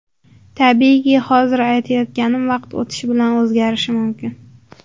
Tabiiyki, hozir aytayotganim vaqt o‘tishi bilan o‘zgarishi mumkin.